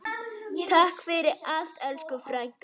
Takk fyrir allt, elsku frænka.